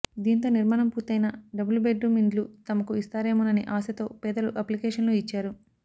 దీంతో నిర్మాణం పూర్తయిన డబుల్ బెడ్రూం ఇండ్లు తమకు ఇస్తారేమోనని ఆశతో పేదలు అప్లికేషన్లు ఇచ్చారు